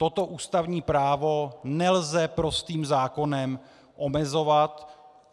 Toto ústavní právo nelze prostým zákonem omezovat.